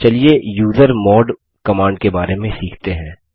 चलिए usermod command के बारे में सीखते हैं